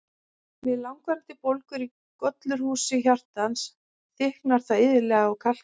Við langvarandi bólgur í gollurhúsi hjartans, þykknar það iðulega og kalkar.